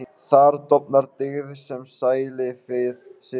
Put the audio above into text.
Þar dofnar dyggð sem sælífið situr.